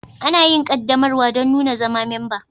Ana yin ƙaddamarwa don nuna zama memba.